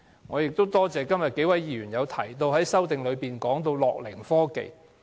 我亦多謝數位議員在修正案中提及樂齡科技。